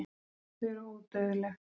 Þau eru ódauðleg.